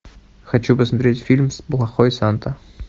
хочу посмотреть фильм плохой санта